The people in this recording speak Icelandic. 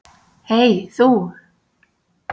Hey þú.